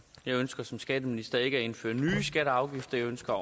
jeg ønsker som skatteminister ikke at indføre nye skatter og afgifter jeg ønsker